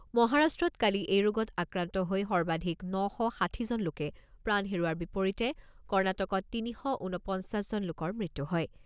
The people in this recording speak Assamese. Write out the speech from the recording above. মহাৰাষ্ট্ৰত কালি এই ৰোগত আক্ৰান্ত হৈ সৰ্বাধিক ন শ ষাঠিজন লোকে প্ৰাণ হেৰুওৱাৰ বিপৰীতে কৰ্ণাটকত তিনি শ ঊনপঞ্চাছজন লোকৰ মৃত্যু হয়।